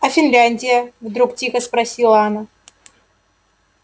а финляндия вдруг тихо спросила она